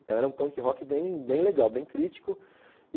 Então era um punk rock bem bem legal, bem crítico.